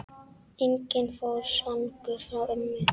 Enginn fór svangur frá ömmu.